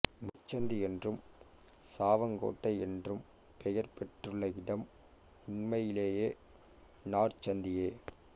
முச்சந்தி என்றும் சாவங்கோட்டை என்றும் பெயர் பெற்றுள்ள இடம் உண்மையிலேயே நாற்சந்தியே